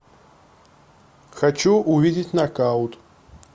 хочу увидеть нокаут